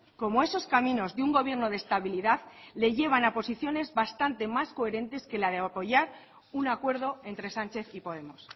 cómo esos caminos de un gobierno de estabilidad le llevan a posiciones bastante más coherentes que la de apoyar un acuerdo entre sánchez y podemos